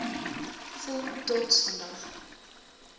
voel trots vandag